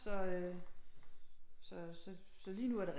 Så øh så lige nu er det